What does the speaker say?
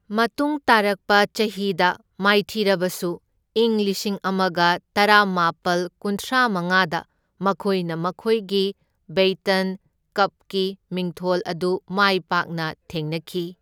ꯃꯇꯨꯡ ꯇꯥꯔꯛꯄ ꯆꯍꯤꯗ ꯃꯥꯏꯊꯤꯔꯕꯁꯨ ꯏꯪ ꯂꯤꯁꯤꯡ ꯑꯃꯒ ꯇꯔꯥꯃꯥꯄꯜ ꯀꯨꯟꯊ꯭ꯔꯥꯃꯉꯥꯗ ꯃꯈꯣꯏꯅ ꯃꯈꯣꯏꯒꯤ ꯕꯦꯏꯇꯟ ꯀꯞꯀꯤ ꯃꯤꯡꯊꯣꯜ ꯑꯗꯨ ꯃꯥꯢ ꯄꯥꯛꯅ ꯊꯦꯡꯅꯈꯤ꯫